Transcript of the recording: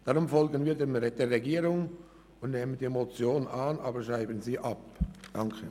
Deshalb folgen wir der Regierung und nehmen die Motion an, schreiben sie aber ab.